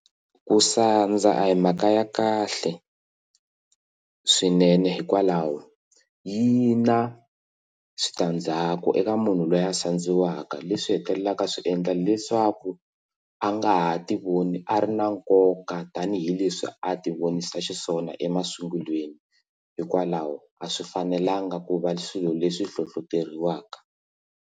Ku sandza a hi mhaka ya kahle swinene hikwalaho yi na switandzhaku eka munhu loyi a sandziwaka leswi hetelelaka swiendla leswi swa ku a nga ha tivoni a ri na nkoka tanihileswi a ti vonisa xiswona emasungulweni hikwalaho a swi fanelanga ku va swilo leswi hlohloteriwaka.